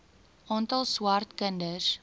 aantal swart kinders